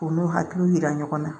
U n'u hakiliw yira ɲɔgɔn na